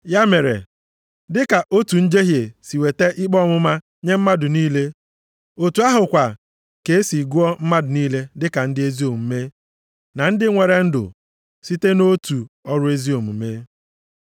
Ya mere, dịka otu njehie si weta ikpe ọmụma nye mmadụ niile, otu ahụ kwa ka e si gụọ mmadụ niile dịka ndị ezi omume na ndị nwere ndụ site nʼotu ọrụ ezi omume.